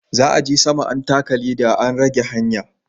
Za'a je sama an taka leɗa an rage hanya.